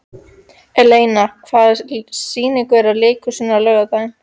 Eleina, hvaða sýningar eru í leikhúsinu á laugardaginn?